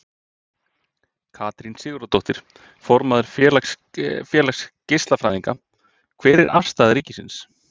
Katrín Sigurðardóttir, formaður Félags geislafræðinga: Hver er afstaða ríkisins?